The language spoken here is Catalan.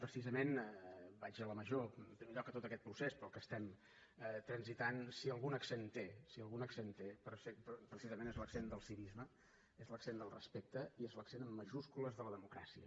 precisament vaig a la major en primer lloc tot aquest procés pel qual estem transitant si algun accent té precisament és l’accent del civisme és l’accent del respecte és l’accent en majúscules de la democràcia